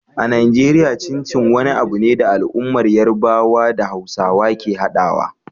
A Najeriya, Chin Chin wani abu ne da al'ummar Yarbawa da Hausawa ke haɗawa.